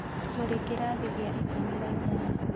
Tũrĩ kĩrathi gĩa ikũmi na inyanya